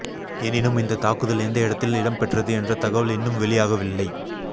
எனினும் இந்த தாக்குதல் எந்த இடத்தில் இடம்பெற்றது என்ற தகவல் இன்னும்வெளியாகவில்லை